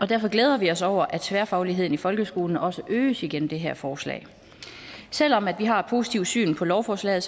derfor glæder vi os over at tværfagligheden i folkeskolen også øges igennem det her forslag selv om vi har et positivt syn på lovforslaget